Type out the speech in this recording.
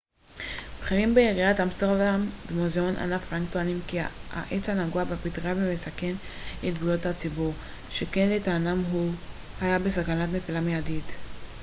בכירים בעיריית אמסטרדם ומוזיאון אנה פרנק טוענים כי העץ נגוע בפטרייה ומסכן את בריאות הציבור שכן לטענתם הוא היה בסכנת נפילה מיידית